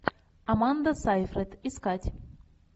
аманда сайфред искать